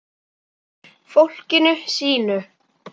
Fólkinu sínu.